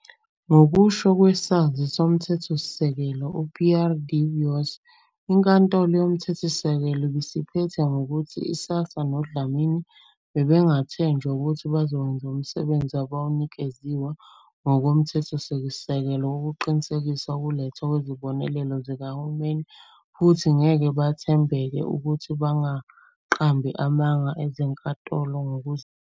Ngokusho kwesazi somthethosisekelo uPierre de Vos, iNkantolo yoMthethosisekelo ibisiphethe ngokuthi iSASSA noDlamini bebengathenjwa ukuthi bazokwenza umsebenzi abawunikezwe ngokomthethosisekelo wokuqinisekisa ukulethwa kwezibonelelo zikahulumeni, futhi ngeke bathembeke ukuthi bangaqambi amanga ezinkantolo ngokuzayo.